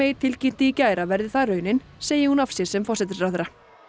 tilkynnti í gær að verði það raunin segi hún af sér sem forsætisráðherra